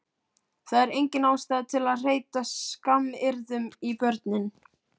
Það er engin ástæða til að hreyta skammaryrðum í börnin